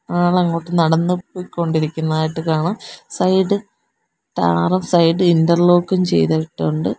ആള് അങ്ങോട്ട് നടന്നു പൊയ്ക്കൊണ്ടിരിക്കുന്നതായിട്ട് കാണാം സൈഡ് ടാറും സൈഡ് ഇൻറർലോക്കും ചെയ്തിട്ടുണ്ട്.